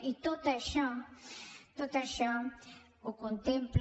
i tot això tot això ho contempla